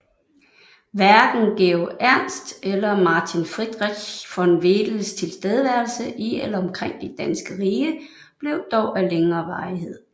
Hverken Georg Emst eller Martin Friedrich von Wedels tilstedeværelse i eller omkring det danske rige blev dog af længere varighed